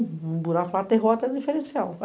Um buraco lá, aterrou até o diferencial.